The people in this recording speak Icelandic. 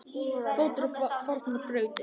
fótur á fornar brautir